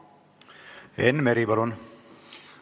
Enn Meri, palun!